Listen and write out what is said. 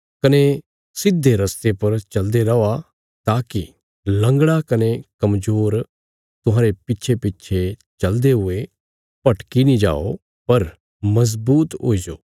कने सिधे रस्ते पर चलदे रौआ ताकि लंगड़ा कने कमजोर तुहांरे पिछेपिछे चलदे हुये भटकी नीं जाओ पर मजबूत हुईजो